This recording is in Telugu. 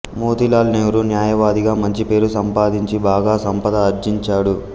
మోతీలాల్ నెహ్రూ న్యాయవాదిగా మంచి పేరు సంపాదించి బాగా సంపద ఆర్జించాడు